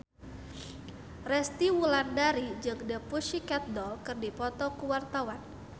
Resty Wulandari jeung The Pussycat Dolls keur dipoto ku wartawan